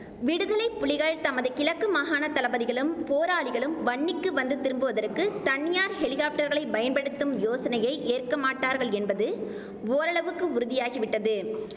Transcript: விடுதலை புலிகள் தமது கிழக்கு மாகாணத் தளபதிகளும் போராளிகளும் வன்னிக்கு வந்து திரும்புவதற்கு தனியார் ஹெலிகாப்டர்களை பயன்படுத்தும் யோசனையை ஏற்கமாட்டார்கள் என்பது ஓரளவுக்கு உறுதியாகி விட்டது